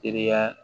Teriya